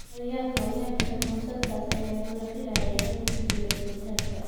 Horyaalka Olombikada Conseslus Kipruto ayaa la filayaa inuu ku guuleysto dahabka.